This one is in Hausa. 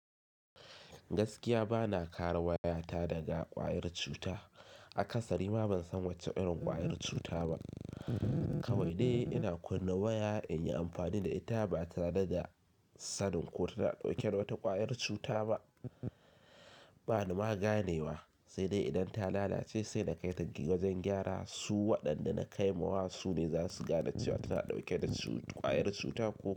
Gaskiya ba na kara waya ta daga ƙwayar cuta. Akasari ma ban san wacce irin ƙwayar cuta ba. Kawai dai ina kunna waya inyi amfani da ita ba tare da sanin ko tana ɗauke da wata ƙwayar cuta ba. Ba ni maganewa sai dai idan ta lalace sai na kai ta wajen gyara su waɗanda na kai ma wa su ne zasu gane cewa tana dauke da ƙwayar cuta ko.